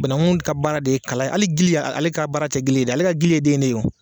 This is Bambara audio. Banaku ka baara de ye kala ali gili ale ka baara tɛ gili ye dɛ ale ka gili ye den de ye.